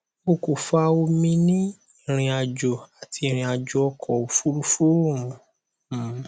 o ko fa omi ni irinajo ati irinajo ọkọ ofurufu um